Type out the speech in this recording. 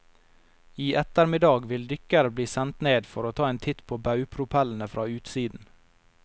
I ettermiddag vil dykkere bli sendt ned for å ta en titt på baugpropellene fra utsiden.